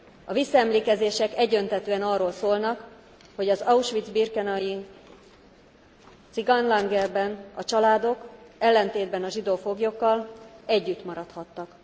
A visszaemlékezések egyöntetűen arról szólnak, hogy az auschwitz birkenaui cigánylágerben a családok, ellentétben a zsidó foglyokkal együtt maradhattak.